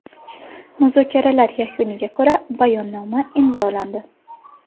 Muzokaralar yakuniga ko‘ra bayonnoma imzolandi.